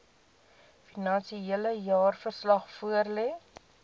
finansiële jaarverslag voorlê